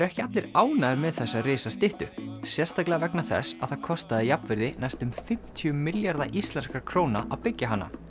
ekki allir ánægðir með þessa sérstaklega vegna þess að það kostaði jafnvirði næstum fimmtíu milljarða íslenskra króna að byggja hana